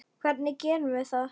Hvernig gerum við það?